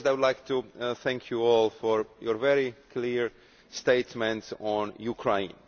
First I would like to thank you all for your very clear statement on Ukraine.